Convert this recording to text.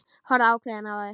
Horfa ákveðin á þær.